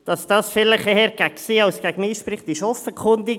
Dass dies eher gegen sie denn gegen mich spricht, ist offenkundig.